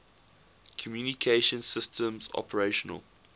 communication systems operational